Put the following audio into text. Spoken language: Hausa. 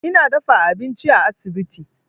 Ina dafa abinci a asibiti.